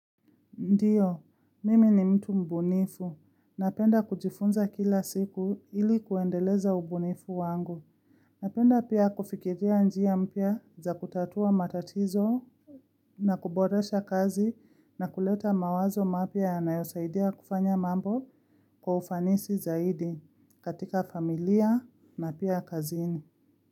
Ndiyo, mimi ni mtu mbunifu. Napenda kujifunza kila siku ili kuendeleza umbunifu wangu. Napenda pia kufikiria njia mpya za kutatua matatizo na kuboresha kazi na kuleta mawazo mapya yanayosaidia kufanya mambo kwa ufanisi zaidi katika familia na pia kazini.